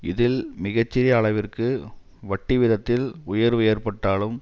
இதில் மிக சிறிய அளவிற்கு வட்டி வீதத்தில் உயர்வு ஏற்பட்டாலும்